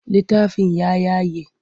Littafin ya yage.